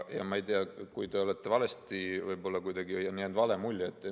Ma ei tea, võib-olla kuidagi on jäänud vale mulje.